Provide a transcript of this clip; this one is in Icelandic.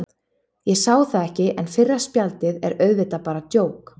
Ég sá það ekki, en fyrra spjaldið er auðvitað bara djók.